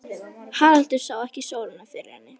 Haraldur sá ekki sólina fyrir henni.